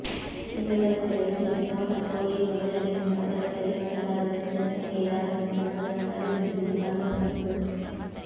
ಈ ಮತಗಟ್ಟೆಯ ವಿಶೇಷ ನೋಟಕ್ಕೋ ಏನೋ ಬೆಳಗ್ಗಿನಿಂದ ಮತಗಟ್ಟೆಯಲ್ಲಿ ಮತದಾರರು ಹೆಚ್ಚಿನ ಸಂಖ್ಯೆಯಲ್ಲಿ ಆಗಮಿಸಿ ಮತದಾನ ನಡೆಸುತ್ತಿದ್ದುದು ಕಂಡು ಬಂದಿತು